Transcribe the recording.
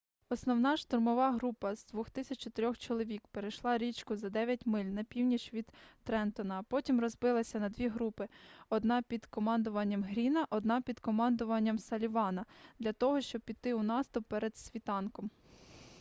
основна штурмова група з 2400 чоловік перейшла річку за дев'ять миль на північ від трентона а потім розбилася на дві групи одна під командуванням гріна одна під командуванням саллівана - для того щоби піти у наступ перед світанком